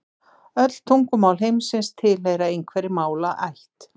Öll tungumál heimsins tilheyra einhverri málaætt.